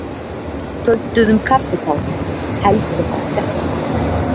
Pöntuðum kaffitár, helst eitthvað sterkt.